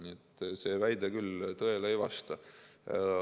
Nii et see väide küll tõele ei vasta.